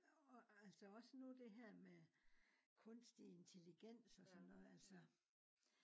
og altså også nu det her med kunstig intelligens og sådan noget altså